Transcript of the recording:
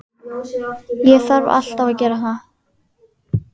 Ég þarf alltaf að gera það.